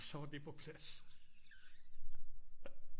Og så var det på plads